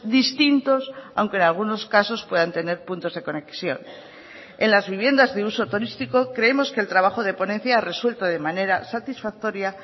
distintos aunque en algunos casos puedan tener puntos de conexión en las viviendas de uso turístico creemos que el trabajo de ponencia ha resuelto de manera satisfactoria